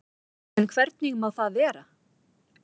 En hvernig má það vera?